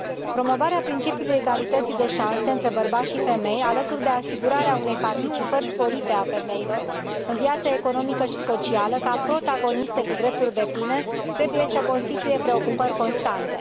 Promovarea principiului egalității de șanse între bărbați și femei, alături de asigurarea unei participări sporite a femeilor în viața economică și socială ca protagoniste cu drepturi depline, trebuie să constituie preocupări constante.